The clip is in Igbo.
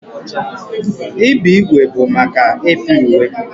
Ibe ígwè bụ maka ịpị uwe.